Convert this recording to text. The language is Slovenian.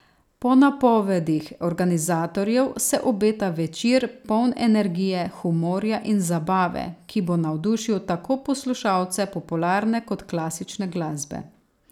Po napovedih organizatorjev se obeta večer, poln energije, humorja in zabave, ki bo navdušil tako poslušalce popularne kot klasične glasbe.